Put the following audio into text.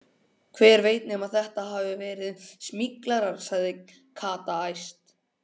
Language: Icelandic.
Hver veit nema þetta hafi verið smyglarar, sagði Kata æst.